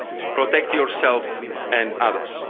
Protect yourself and others.